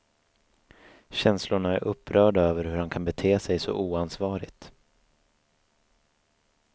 Känslorna är upprörda över hur han kan bete sig så oansvarigt.